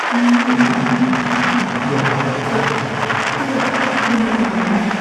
ꯃꯤꯑꯣꯏ ꯑꯃꯅ ꯐꯝꯐꯝ ꯑꯗꯨꯗ ꯑꯣꯊꯣꯛꯈꯤ ꯑꯗꯨꯒ ꯃꯅꯝ ꯌꯥꯝꯅ ꯅꯝꯊꯤ꯫